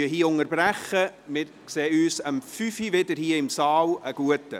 Wir unterbrechen an dieser Stelle und treffen uns um 17 Uhr wieder hier.